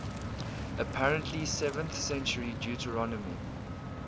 apparently seventh century deuteronomy